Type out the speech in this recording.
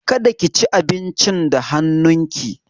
Kada ki ci abincin da hannun ki!